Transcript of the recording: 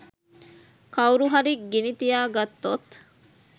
කවුරු හරි ගිනි තියගත්තොත්